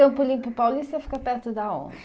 Campo Limpo Paulista ou fica perto da onde?